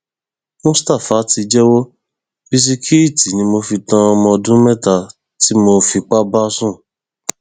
mustapha ti jẹwọ bisikíìtì ni mo fi tan ọmọ ọdún mẹta tí mo fipá bá sùn